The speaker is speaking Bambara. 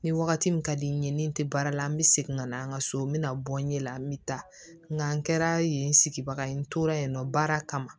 Ni wagati min ka di n ye ni n te baara la n be segin ka na an ka so n bɛna bɔ n ɲɛ la n bɛ taa nka n kɛra yen sigibaga ye n tora yen nɔ baara kama